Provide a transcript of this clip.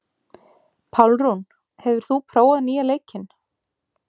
Pálrún, hefur þú prófað nýja leikinn?